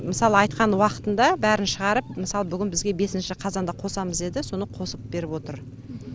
мысалы айтқан уақытында бәрін шығарып мысалы бүгін бізге бесінші қазанда қосамыз деді соны қосып беріп отыр